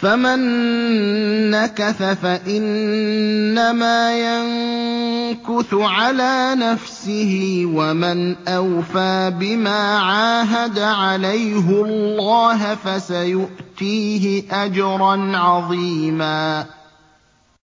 فَمَن نَّكَثَ فَإِنَّمَا يَنكُثُ عَلَىٰ نَفْسِهِ ۖ وَمَنْ أَوْفَىٰ بِمَا عَاهَدَ عَلَيْهُ اللَّهَ فَسَيُؤْتِيهِ أَجْرًا عَظِيمًا